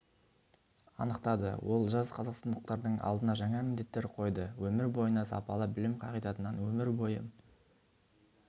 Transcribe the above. анықтады ол жас қазақстандықтардың алдына жаңа міндеттер қойды өмір бойына сапалы білім қағидатынан өмір бойы